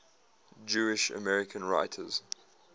jewish american writers